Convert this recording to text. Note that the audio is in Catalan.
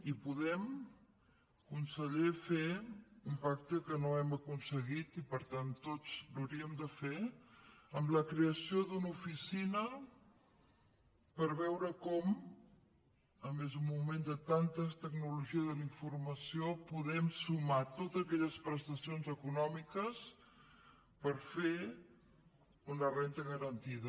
i podem conseller fer un pacte que no hem aconseguit i per tant tots l’hauríem de fer amb la creació d’una oficina per veure com a més en un moment de tanta tecnologia de la informació podem sumar totes aquelles prestacions econòmiques per fer una renda garantida